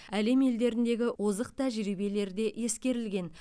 әлем елдеріндегі озық тәжірибелер де ескерілген